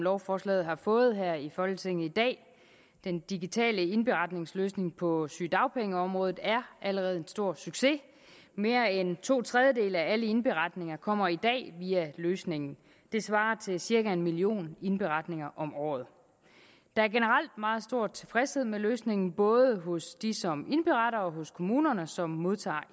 lovforslaget har fået her i folketinget i dag den digitale indberetningsløsning på sygedagpengeområdet er allerede en stor succes mere end to tredjedele af alle indberetninger kommer i dag via løsningen det svarer til cirka en million indberetninger om året der er generelt meget stor tilfredshed med løsningen både hos dem som indberetter og hos kommunerne som modtager